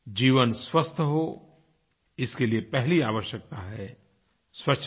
जीवन स्वस्थ हो इसके लिए पहली आवश्यकता है स्वच्छता